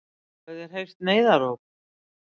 Hafið þér heyrt neyðaróp?